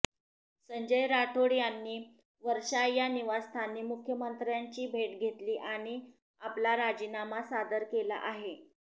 संजय राठोड यांनी वर्षा या निवासस्थानी मुख्यमंत्र्यांची भेट घेतली आणि आपला राजीनामा सादर केला आहे